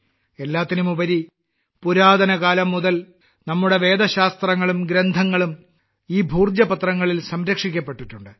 എല്ലാത്തിനുമുപരി പുരാതന കാലം മുതൽ നമ്മുടെ വേദശാസ്ത്രങ്ങളും ഗ്രന്ഥങ്ങളും ഈ ഭോജ പത്രങ്ങളിൽ സംരക്ഷിക്കപ്പെട്ടിട്ടുണ്ട്